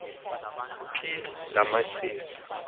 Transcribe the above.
phi la machiza